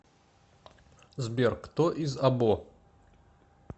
сбер кто из або